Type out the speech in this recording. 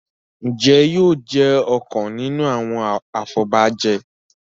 Njé yóò jé ọkàn nínú àwọn afobaje?